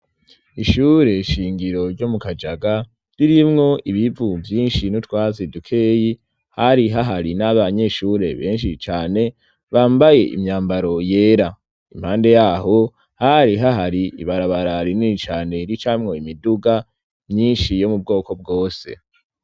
Ishure shingiro ryo mu Kajaga ririmwo ibivu byinshi no twa sedukeyi hari hahari n'abanyeshure benshi cane bambaye imyambaro yera. Impande yaho hari hahari ibarabara rinini cane ricamwo imiduga myinshi yo mu bwoko bwose.